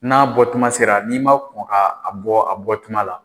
N'a bɔ tuma sera, n'i ma kɔn k'a bɔ a bɔ tuma la.